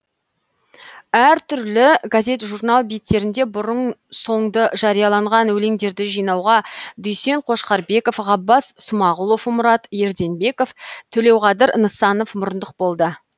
әр түрлі газет журнал беттерінде бұрын соңды жарияланған өлеңдерді жинауға дүйсен қошқарбеков ғаббас смағұлов мұрат ерденбеков төлеуқадыр нысанов мұрындық болды